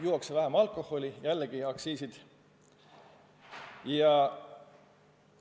Juuakse vähem alkoholi – jällegi, aktsiisid vähenevad.